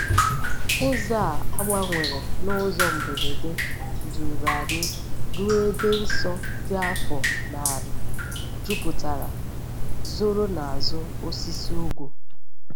Ụzọ a gbanwere n’ụzọ mberede duru anyị ruo ebe nsọ dị afọ narị juputara, zoro n’azụ osisi ugwu.